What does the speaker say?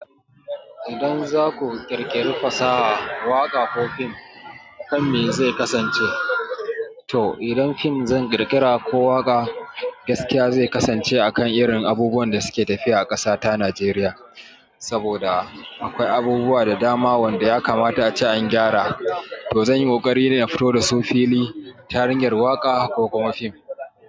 Idan zaku ƙirƙiri fasaha, waƙa ko fim, kan me zai kasance? To, idan fim zan ƙirƙira ko waƙa, gaskiya zai kasance akan irin abubuwan da suke tafiya a ƙasa ta Najeriya, saboda akwai abubuwa da dama wanda ya kamata a ce an gyara. To zan yi ƙoƙari ne na fito da su fili ta hanyar waƙa ko kuma fim.